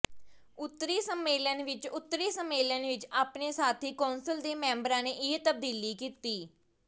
ਉੱਤਰੀ ਸੰਮੇਲਨ ਵਿਚ ਉੱਤਰੀ ਸੰਮੇਲਨ ਵਿਚ ਆਪਣੇ ਸਾਥੀ ਕੌਂਸਲ ਦੇ ਮੈਂਬਰਾਂ ਨੇ ਇਹ ਤਬਦੀਲੀ ਕੀਤੀ